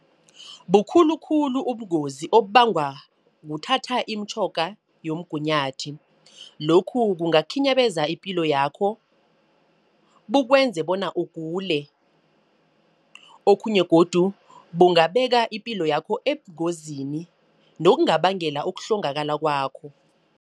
Bukhulukhulu ubungozi okubangwa kuthatha imitjhoga yomgunyathi. Lokhu kungakhinyabeza ipilo yakho, bukwenze bona ugule. Okhunye godu bungabeka ipilo yakho ebungozini nongabangela ukuhlongakala kwakho.